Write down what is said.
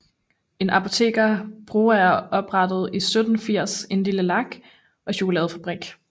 En apoteker Broager oprettede i 1780 en lille lak og chokoladefabrik